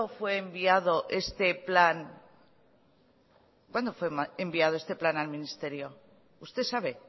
fue enviado este plan al ministerio usted sabe